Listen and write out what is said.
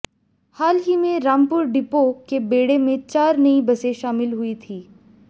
हाल ही में रामपुर डिपो के बेड़े में चार नई बसें शामिल हुई थीं